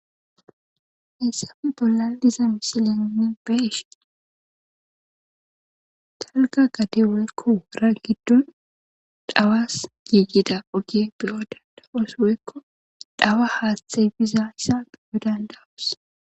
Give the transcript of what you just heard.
Hayissa bolla diyiza misileni beyiahini wora gidoni dhawasi giggida oge demasi dhawa hathi bidasoni demayis